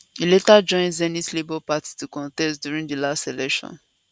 e later join zenith labour party to contest during di last election